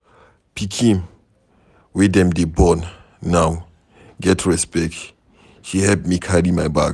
Pikin wey dem dey born now get respect. She help me carry my bag.